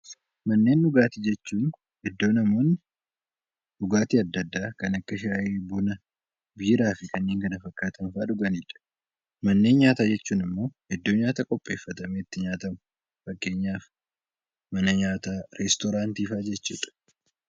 Manneen Dhugaatii jechuun iddoo namoonni dhugaatii addaa addaa kan akka Shaayii, Buna, Biiraa fi kanneen kana fakkaatan fa'aa dhugani dha. Manneen Nyaataa jechuun immoo iddoo nyaata qopheeffatamee itti nyaatamu. Fakkeenyaaf Mana nyaataa, Restooraantii fa'aa jechuu dha.